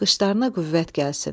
Qışlarına qüvvət gəlsin.